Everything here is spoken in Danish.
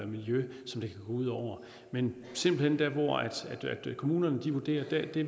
miljø som det kan gå ud over men simpelt hen der hvor kommunerne vurderer de